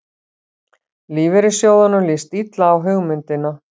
Lífeyrissjóðunum líst illa á hugmyndina